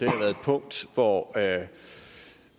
punkt hvor